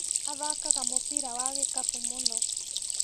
Athakaga mũbira wa gĩkabu mũno.